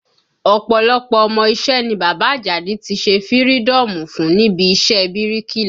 Ọ̀pọ̀lọpọ̀ ọmọ iṣẹ́ ni bàbá Àjàdí tí ṣe fïrídọ́ọ̀mù fún níbi iṣẹ́ ẹ bíríkìlà